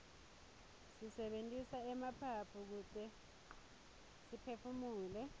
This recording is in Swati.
sisebentisa emaphaphu kute siphefumule